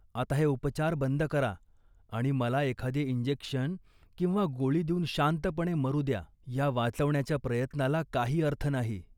आता हे उपचार बंद करा आणि मला एखादे इंजेक्शन किंवा गोळी देऊन शांतपणे मरू द्या. या वाचवण्याच्या प्रयत्नाला काही अर्थ नाही